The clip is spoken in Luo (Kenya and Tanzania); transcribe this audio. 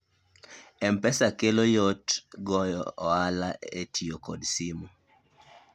mpesa kelo yot goyo ohala e tiyo kod simu